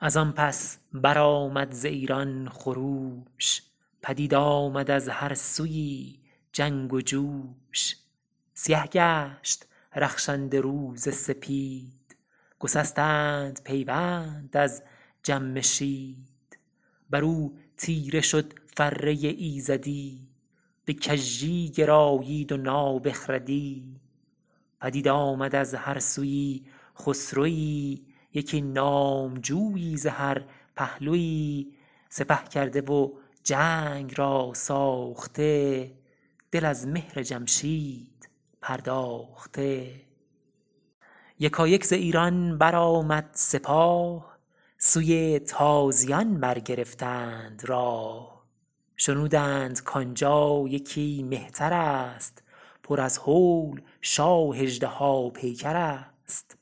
از آن پس برآمد ز ایران خروش پدید آمد از هر سویی جنگ و جوش سیه گشت رخشنده روز سپید گسستند پیوند از جمشید بر او تیره شد فره ایزدی به کژی گرایید و نابخردی پدید آمد از هر سویی خسروی یکی نامجویی ز هر پهلوی سپه کرده و جنگ را ساخته دل از مهر جمشید پرداخته یکایک ز ایران برآمد سپاه سوی تازیان برگرفتند راه شنودند کان جا یکی مهتر است پر از هول شاه اژدها پیکر است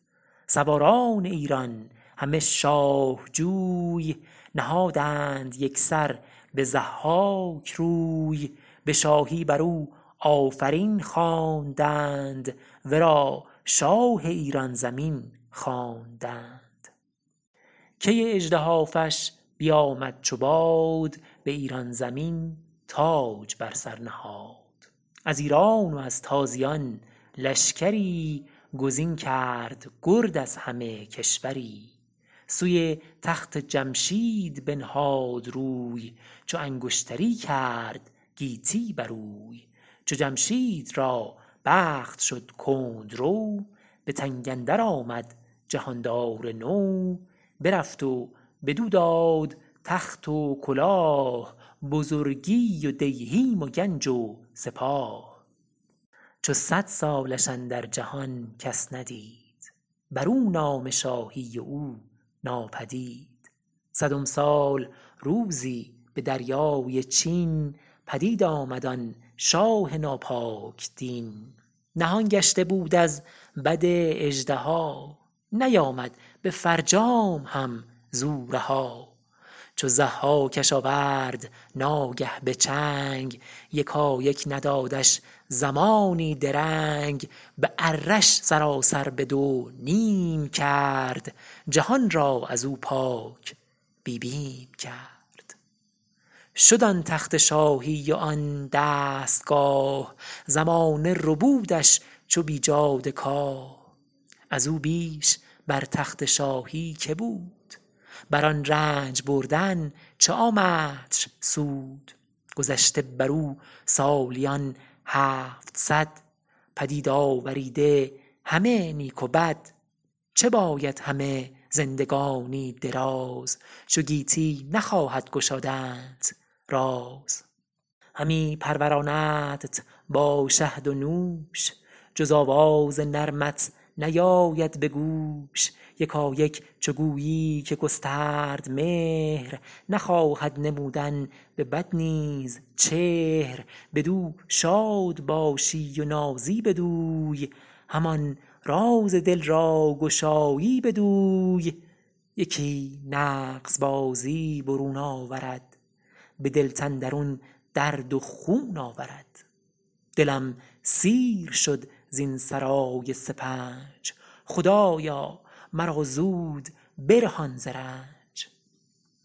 سواران ایران همه شاه جوی نهادند یک سر به ضحاک روی به شاهی بر او آفرین خواندند ورا شاه ایران زمین خواندند کی اژدهافش بیامد چو باد به ایران زمین تاج بر سر نهاد از ایران و از تازیان لشکری گزین کرد گرد از همه کشوری سوی تخت جمشید بنهاد روی چو انگشتری کرد گیتی بروی چو جمشید را بخت شد کندرو به تنگ اندر آمد جهاندار نو برفت و بدو داد تخت و کلاه بزرگی و دیهیم و گنج و سپاه چو صد سالش اندر جهان کس ندید بر او نام شاهی و او ناپدید صدم سال روزی به دریای چین پدید آمد آن شاه ناپاک دین نهان گشته بود از بد اژدها نیامد به فرجام هم ز او رها چو ضحاکش آورد ناگه به چنگ یکایک ندادش زمانی درنگ به اره ش سراسر به دو نیم کرد جهان را از او پاک بی بیم کرد شد آن تخت شاهی و آن دستگاه زمانه ربودش چو بیجاده کاه از او بیش بر تخت شاهی که بود بر آن رنج بردن چه آمدش سود گذشته بر او سالیان هفتصد پدید آوریده همه نیک و بد چه باید همه زندگانی دراز چو گیتی نخواهد گشادنت راز همی پروراندت با شهد و نوش جز آواز نرمت نیاید به گوش یکایک چو گویی که گسترد مهر نخواهد نمودن به بد نیز چهر بدو شاد باشی و نازی بدوی همان راز دل را گشایی بدوی یکی نغز بازی برون آورد به دلت اندرون درد و خون آورد دلم سیر شد زین سرای سپنج خدایا مرا زود برهان ز رنج